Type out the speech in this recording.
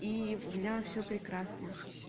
и у меня всё прекрасно